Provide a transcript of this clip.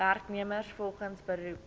werknemers volgens beroep